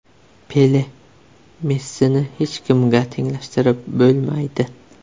Pele: Messini hech kimga tenglashtirib bo‘lmaydi.